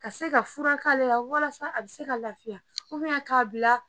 Ka se ka furak'ale la walasa ale be se ka lafiya ubiyɛn k'a bila